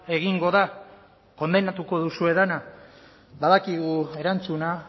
egingo da kondenatuko duzue dena badakigu erantzuna